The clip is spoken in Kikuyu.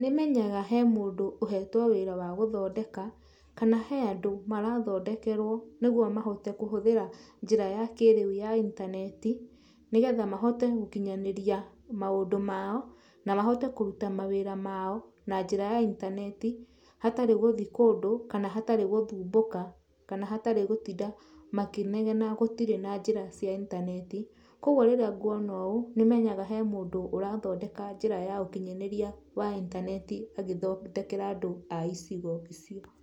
Nĩmenyaga he mũndũ ũhetwe wira wa gũthondeka kana he andũ marathondekerwo nĩguo mahote kũhũthĩra njĩra ya kĩrĩu ya intaneti nĩgetha mahote gũkinyanĩria maũndũ mao na mahote kũrũta mawira mao na njĩra ya intaneti hatarĩ gũthiĩ kũndũ kana hatarĩ gũthumbũka kana hatarĩ gũtinda makĩnegena gũtirĩ na njĩra ya intaneti kwoguo rĩrĩa nguona ũũ nĩmenyaga he mũndũ ũrathondeka njĩra ya ũkinyanĩria wa intaneti magĩthondekera andũ icigo icio.